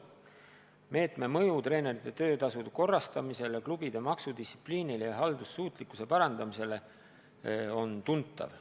Meetme mõju treenerite töötasude korrastamisele, klubide maksudistsipliinile ja haldussuutlikkuse parandamisele on tuntav.